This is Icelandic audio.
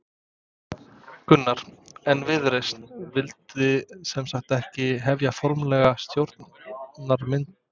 Gunnar: En Viðreisn vildi sem sagt ekki hefja formlegar stjórnarmyndunarviðræður?